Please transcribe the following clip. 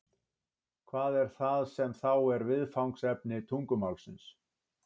hvað er það sem þá er viðfangsefni tungumálsins